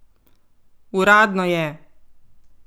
Uradno je!